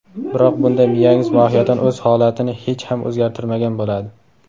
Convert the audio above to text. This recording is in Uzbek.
Biroq bunda miyangiz mohiyatan o‘z holatini hech ham o‘zgartirmagan bo‘ladi.